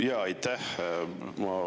Jaa, aitäh!